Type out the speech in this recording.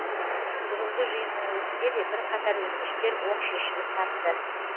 бүгінгі жиынның өзінде де бірқатар өтініштер оң шешімін тапты